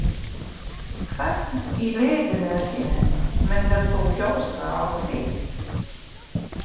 Hvern í liðinu þínu myndir þú kjósa á þing?